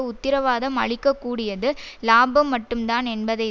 உத்திரவாதம் அளிக்க கூடியது இலாபம் மட்டும் தான் என்பதை